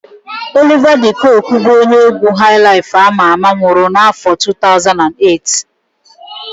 Oliva de Koku bụ onye égwú haịlaịf ama ama nwụrụ n'áfọ̀ 2008.